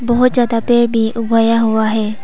बहुत ज्यादा पेड़ भी उगाया हुआ है।